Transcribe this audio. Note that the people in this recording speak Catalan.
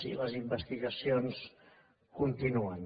i les investigacions continuen